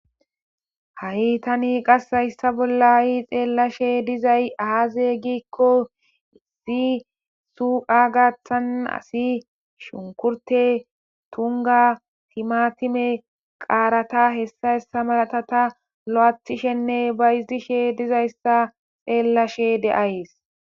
Ha'i tani hayssa bolla qasi xelashe diizay aaze giiko issi suuqa gaththan asay shunkurto tuumo timatime qaarata hessa hessa malata lo'athishene bayzishe diizayssa xeelashe de'ays.